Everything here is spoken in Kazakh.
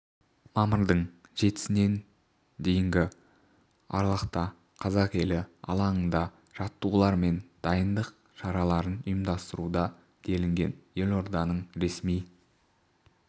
мамырдың сінен дейінгі аралықта қазақ елі алаңында жаттығулар мен дайындық шараларын ұйымдастыруда делінген елорданың ресми